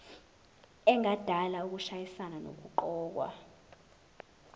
engadala ukushayisana nokuqokwa